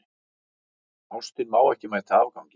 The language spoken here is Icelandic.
Ástin má ekki mæta afgangi.